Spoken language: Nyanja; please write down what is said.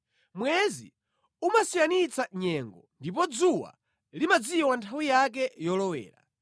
Mwezi umasiyanitsa nyengo ndipo dzuwa limadziwa nthawi yake yolowera.